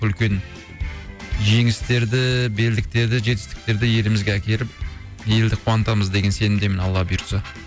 үлкен жеңістерді белдіктерді жетістіктерді елімізге әкеліп елді қуантамыз деген сенімдемін алла бұйыртса